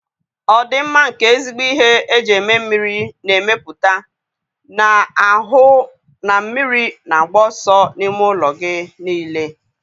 Ọdịmma nke ezigbo ihe eji eme mmiri na-emepụta, na-ahụ na mmiri na-agba ọsọ n'ime ụlọ gị niile